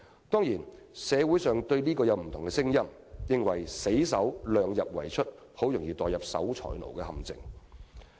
"當然，社會上對此有不同聲音，有人認為死守"量入為出"，很容易墮入守財奴的陷阱。